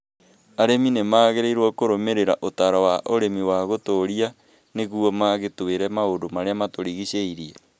Arĩmi nĩ magĩrĩirũo kũrũmĩrĩra ũtaaro wa ũrĩmi wa gũtũũria nĩguo magitĩ re maũndũ marĩa matũrigicĩirie.